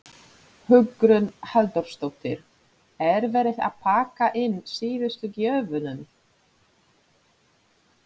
Hugrún Halldórsdóttir: Er verið að pakka inn síðustu gjöfunum?